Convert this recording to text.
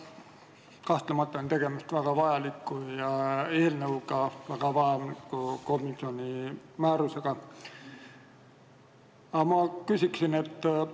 Jah, kahtlemata on tegemist väga vajaliku eelnõuga ning väga vajaliku komisjoni määrusega.